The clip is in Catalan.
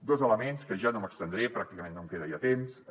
dos elements que ja no m’hi estendré pràcticament no em queda ja temps